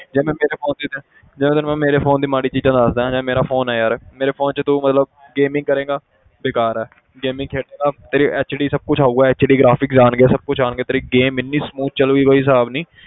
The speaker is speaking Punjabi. ਜਿਵੇਂ ਮੇਰੇ phone ਦੀ ਜਿਵੇਂ ਤੈਨੂੰ ਮੈਂ ਮੇਰੇ phone ਦੀ ਮਾੜੀ ਚੀਜ਼ਾਂ ਦੱਸਦਾਂ ਜਿਵੇਂ ਮੇਰਾ phone ਹੈ ਯਾਰ ਮੇਰੇ phone 'ਚ ਤੂੰ ਮਤਲਬ gaming ਕਰੇਂਗਾ ਬੇਕਾਰ ਹੈ gaming ਖੇਡੇਂਗਾ ਤੇਰੇ HD ਸਭ ਕੁਛ ਆਊਗਾ HD graphics ਆਉਣਗੇ ਸਭ ਕੁਛ ਆਉਣਗੇ ਤੇਰੀ game ਇੰਨੀ smooth ਚੱਲੇਗੀ ਕੋਈ ਹਿਸਾਬ ਨੀ,